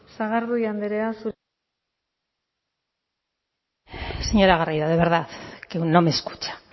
sagardui andrea zurea da hitza señora garrido de verdad que no me escucha